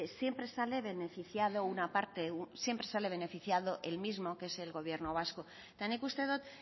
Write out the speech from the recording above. siempre sale beneficiado una parte siempre sale beneficiado el mismo que es el gobierno vasco eta nik uste dut